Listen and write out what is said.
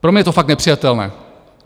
Pro mě je to fakt nepřijatelné.